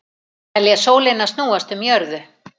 Telja sólina snúast um jörðu